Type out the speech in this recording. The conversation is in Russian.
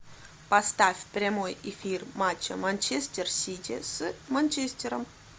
поставь прямой эфир матча манчестер сити с манчестером